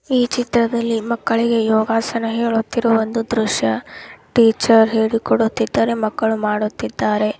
ಈ ಚಿತ್ರದಲ್ಲಿ ಮಕ್ಕಳಿಗೆ ಯೋಗಾಸನ ಹೇಳುತ್ತಿರುವ ಒಂದು ದ್ರಶ್ಯ ಟೀಚರ್ ಹೇಳಿಕೊಡುತ್ತಿದ್ದಾರೆ ಮಕ್ಕಳು ಮಾಡುತ್ತಿದ್ದಾರೆ.